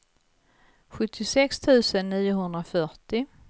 sjuttiosex tusen niohundrafyrtio